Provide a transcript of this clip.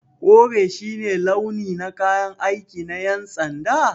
Kore shi ne launi na kayan aiki na yan'sanda?